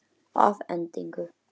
Það er alveg rétt munað.